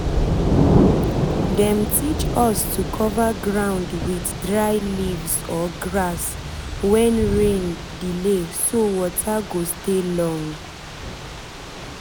dem teach us to cover ground with dry um leaves or grass um when rain um delay so water go stay long.